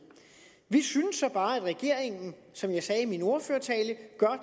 vi synes så bare at regeringen som jeg sagde i min ordførertale gør